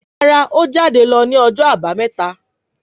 Rárá o jade lọ ni ọjọ abameta